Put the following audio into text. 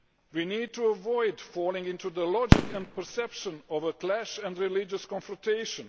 We need to avoid falling into the logic and perception of a clash and religious confrontation.